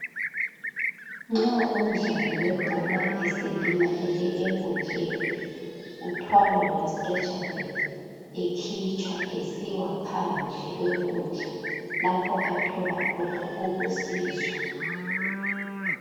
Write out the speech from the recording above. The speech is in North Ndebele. Nxa umdlali webhola eselimalele enkundleni uthwalwa nge"stretcher bed" ekhitshwa esiwaphandle kwenkundla lapho athola khona ukusizwa.